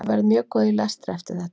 ég verð mjög góð í lestri eftir þetta